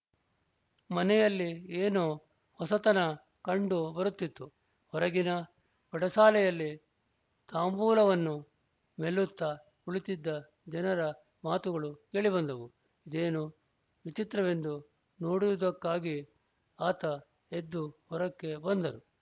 ಮನೆಯಲ್ಲಿ ಏನೋ ಹೊಸತನ ಕಂಡು ಬರುತ್ತಿತ್ತು ಹೊರಗಿನ ಪಡಸಾಲೆಯಲ್ಲಿ ತಾಂಬೂಲವನ್ನು ಮೆಲ್ಲುತ್ತಾ ಕುಳಿತಿದ್ದ ಜನರ ಮಾತುಗಳು ಕೇಳಿಬಂದವು ಇದೇನು ವಿಚಿತ್ರವೆಂದು ನೋಡುವುದಕ್ಕಾಗಿ ಆತ ಎದ್ದು ಹೊರಕ್ಕೆ ಬಂದರು